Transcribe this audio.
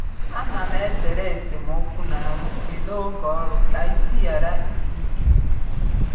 A na m ezere esemokwu na nrụgide n’oge ọrụ ka isi ghara isi ike